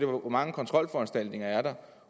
hvor mange kontrolforanstaltninger er der